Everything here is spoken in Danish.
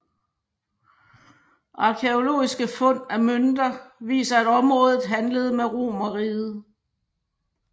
Arkæologiske fund af mønter viser at området handlede med Romerriget